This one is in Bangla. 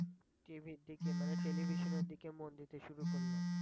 TV এর দিকে মানে television এর দিকে মন দিতে শুরু করলো।